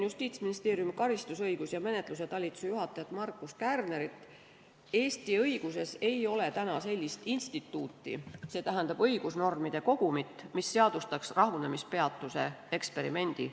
Justiitsministeeriumi karistusõiguse ja menetluse talituse juhataja Markus Kärner on öelnud, et Eesti õiguses ei ole veel sellist instituuti, st õigusnormide kogumit, mis seadustaks rahunemispeatuse eksperimendi.